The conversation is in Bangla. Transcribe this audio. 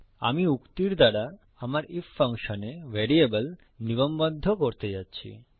আমি উক্তির দ্বারা আমার ইফ ফাংশনে ভ্যারিয়েবল নিগমবদ্ধ করতে যাচ্ছি